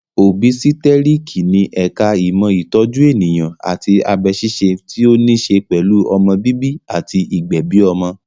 Òbísítẹ́tíriki ni ẹ̀ka ìmọ̀ ìtọ́jú ènìyàn àti abẹ ṣíṣe tí ó ní ṣe pẹ̀lú ọmọ bíbí àti ìgbẹ̀bi ọmọ